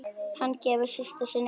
Hann gefur systur sinni auga.